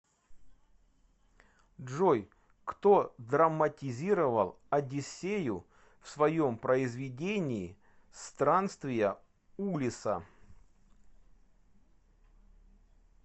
джой кто драматизировал одиссею в своем произведении странствия улисса